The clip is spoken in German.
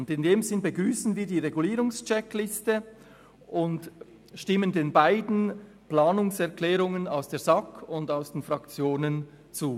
In diesem Sinn begrüssen wir die Regulierungscheckliste und stimmen den beiden Planungserklärungen aus der SAK und aus den Fraktionen zu.